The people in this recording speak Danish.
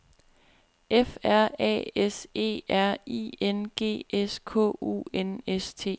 F R A S E R I N G S K U N S T